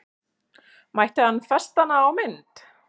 Mætti hann festa hana á mynd?